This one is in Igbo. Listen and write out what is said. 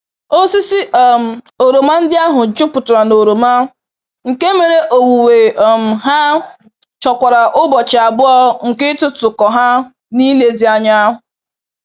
Osisi um oroma ndị ahụ jupụtara na oroma, nke mere owuwe um ha chọkwara ụbọchị abụọ nke ịtụtụ kọ ha n'ilezi anya.